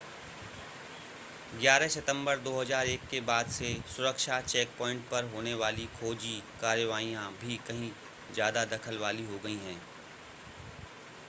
11 सितंबर 2001 के बाद से सुरक्षा चेकपॉइंट पर होने वाली खोजी कार्रवाइयां भी कहीं ज़्यादा दखल वाली हो गई हैं